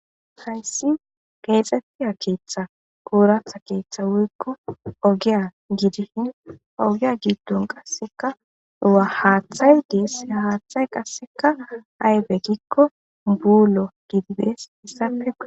Hayssi geexettiya keeththa ooratha keeththa wuykko ogiya gidihin ogiya giiddon qasseka wa haaththay dees haaththay qasseka aybe gikko buulo gidibes issafe.